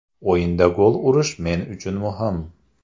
O‘yinda gol urish men uchun muhim.